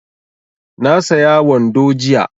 Na saya wando jiya